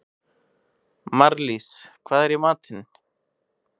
Marlís, hvað er í matinn?